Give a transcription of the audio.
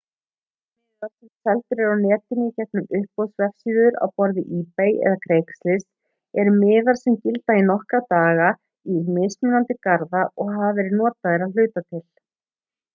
margir miðar sem seldir eru á netinu í gegnum uppboðsvefsíður á borð við ebay eða craigslist eru miðar sem gilda í nokkra daga í mismunandi garða og hafa verið notaðir að hluta til